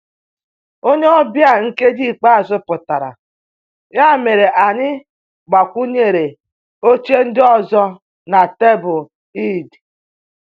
Onye ọbịa nkeji ikpeazụ pụtara, ya mere anyị gbakwunyere oche ndị ọzọ na tebụl Eid